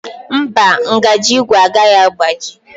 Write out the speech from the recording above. Mba, ngaji ígwè agaghị agbaji.